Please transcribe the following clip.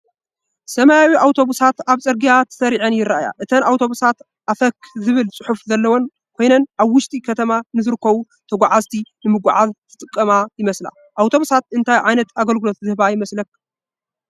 ሰማያዊ ኣውቶቡሳት ኣብ ጽርግያ ተሰሪዐን ይርኣያ። እተን ኣውቶቡሳት “ኣፈክ” ዝብል ጽሑፍ ዘለወን ኮይነን፡ ኣብ ውሽጢ ከተማ ንዝርከቡ ተጓዓዝቲ ንምጉዕዓዝ ዝጥቀማ ይመስላ። ኣውቶቡሳት እንታይ ዓይነት ኣገልግሎት ዝህባ ይመስላ?